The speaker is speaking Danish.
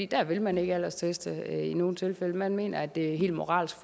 der vil man ikke aldersteste i nogen tilfælde man mener at det er moralsk